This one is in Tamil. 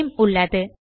நேம் உள்ளது